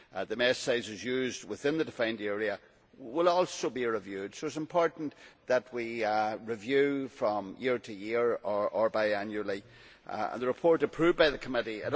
The mesh sizes used within the defined area will also be reviewed, so it is important that we review, from year to year or bi annually, the report approved by the Committee.